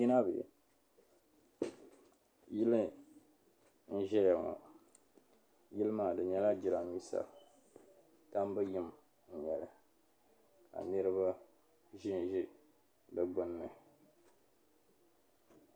Yili n-zaya ŋɔ yili maa yili maa di nyɛla jiraamiinsa tambu yim n-nyɛ li ka niriba ʒemʒe di gbunni.